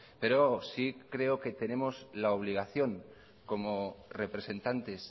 pero sí creo que tenemos la obligación como representantes